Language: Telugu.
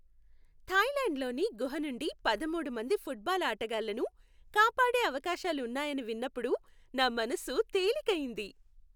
థాయ్లాండ్లోని గుహ నుండి పదమూడు మంది ఫుట్బాల్ ఆటగాళ్లను, కాపాడే అవకాశాలు ఉన్నాయని విన్నప్పుడు నా మనసు తేలిక అయ్యింది.